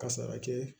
Ka sara kɛ